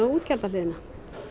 og útgjaldahliðina